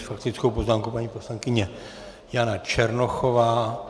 S faktickou poznámkou paní poslankyně Jana Černochová.